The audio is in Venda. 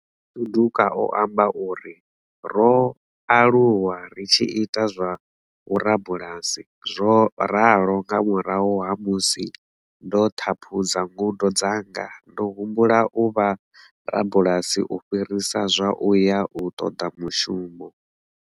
Suduka o amba uri. Ro alu wa ri tshi ita zwa vhurabulasi, zwo ralo nga murahu ha musi ndo ṱhaphudza ngudo dzanga ndo humbula u vha rabulasi u fhirisa zwa u ya u ṱoḓa mushumo.